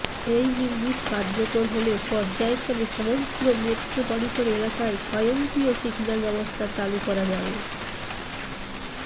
এই ইউনিট কার্যকর হলে পর্যায়ক্রমে সমগ্র মেট্রোপলিটন এলাকায় স্বয়ংক্রিয় সিগন্যাল ব্যবস্থা চালু করা যাবে